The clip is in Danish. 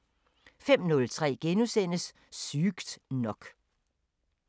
05:03: Sygt nok *